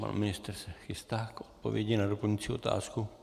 Pan ministr se chystá k odpovědi na doplňující otázku.